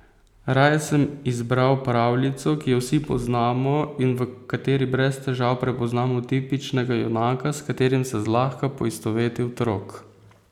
Raje sem izbral pravljico, ki jo vsi poznamo, in v kateri brez težav prepoznamo tipičnega junaka, s katerim se zlahka poistoveti otrok.